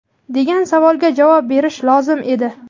degan savolga javob berishi lozim edi.